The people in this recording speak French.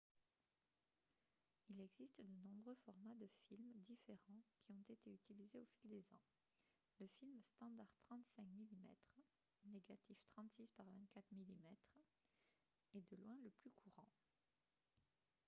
il existe de nombreux formats de films différents qui ont été utilisés au fil des ans. le film standard 35 mm négatif 36 par 24 mm est de loin le plus courant